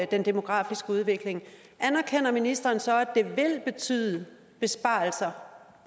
den demografiske udvikling anerkender ministeren så at det vil betyde besparelser